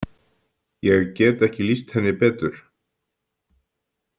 Ég get ekki lýst henni betur.